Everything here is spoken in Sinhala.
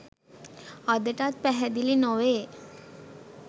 අදටත් පැහැදිලි නොවේ